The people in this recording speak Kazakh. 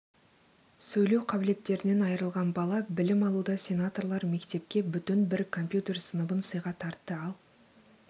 сөйлеу қабілеттерінен айрылған бала білім алуда сенаторлар мектепке бүтін бір компьютер сыныбын сыйға тартты ал